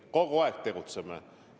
Me kogu aeg tegutseme!